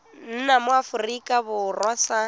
nna mo aforika borwa sa